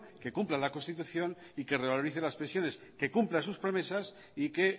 que cumpla la constitución y que revalorice las pensiones que cumpla sus promesas y que